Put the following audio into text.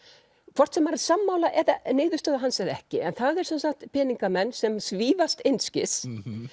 hvort sem maður er sammála niðurstöðu hans eða ekki en það eru sem sagt peningamenn sem svífast einskis